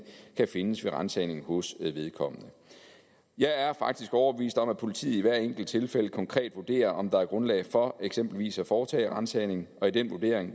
kan findes ved ransagning hos vedkommende jeg er faktisk overbevist om at politiet i hvert enkelt tilfælde konkret vurderer om der er grundlag for eksempelvis at foretage ransagning og i den vurdering